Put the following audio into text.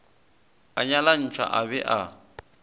a nyalantšhwa a be a